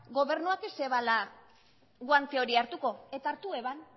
gobernuak ez zuela guante hori hartuko eta hartu zuen